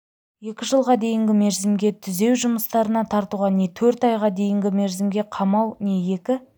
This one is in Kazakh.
екі жылға дейінгі мерзімге түзеу жұмыстарына тартуға не төрт айға дейінгі мерзімге қамау не екі